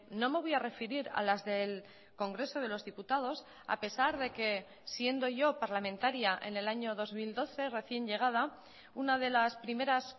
no me voy a referir a las del congreso de los diputados a pesar de que siendo yo parlamentaria en el año dos mil doce recién llegada una de las primeras